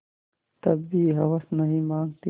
तब भी हवस नहीं मानती